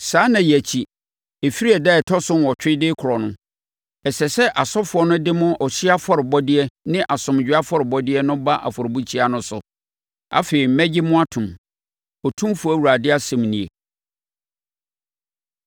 Saa nna yi akyi, ɛfiri ɛda a ɛtɔ so nnwɔtwe de rekorɔ no, ɛsɛ sɛ asɔfoɔ no de mo ɔhyeɛ afɔrebɔdeɛ ne asomdwoeɛ afɔrebɔdeɛ no ba afɔrebukyia no so. Afei mɛgye mo atom, Otumfoɔ Awurade asɛm nie.”